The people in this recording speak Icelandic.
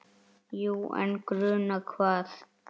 Jú, en gruna hvað?